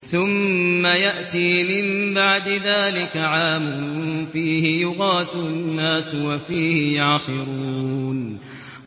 ثُمَّ يَأْتِي مِن بَعْدِ ذَٰلِكَ عَامٌ فِيهِ يُغَاثُ النَّاسُ وَفِيهِ يَعْصِرُونَ